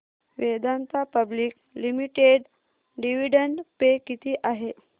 Vedanta public limited dividend pay किती आहे